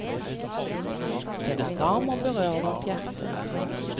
Den er varm og berører vårt hjerte.